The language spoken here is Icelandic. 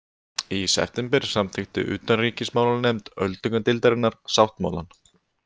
Í september samþykkti utanríkismálanefnd öldungadeildarinnar sáttmálann